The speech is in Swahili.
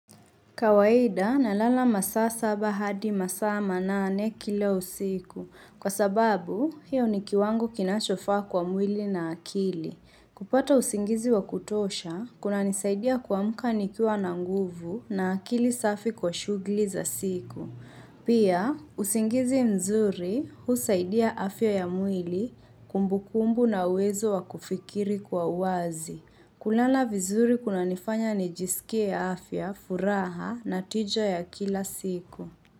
Kawaida na lala masaa saba hadi masaa manane kila usiku. Kwa sababu, hiyo ni kiwango kinachofa kwa mwili na akili. Kupata usingizi wa kutosha, kuna nisaidia kwa amka nikiwa na nguvu na akili safi kwa shughuli za siku. Pia, usingizi mzuri, husaidia afya ya mwili, kumbukumbu na uwezo wa kufikiri kwa uazi. Kulala vizuri kuna nifanya nijisikie afya, furaha na tija ya kila siku.